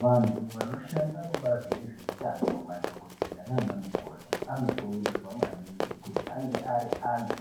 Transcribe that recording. Vantu vanoshanda kubazi rezveutano madhokodheya nanamukoti anokurudzirwa maningi kuti ange ari antu